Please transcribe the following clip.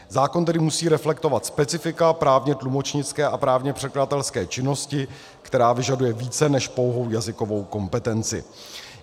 Zákon tedy musí reflektovat specifika právně tlumočnické a právně překladatelské činnosti, která vyžaduje více než pouhou jazykovou kompetenci.